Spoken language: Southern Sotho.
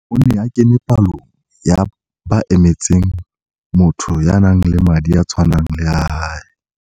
O ne a kene palong ya ba emetseng motho ya nang le madi a tshwanang le a hae.